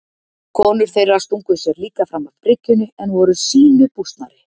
Konur þeirra stungu sér líka fram af bryggjunni en voru sýnu bústnari.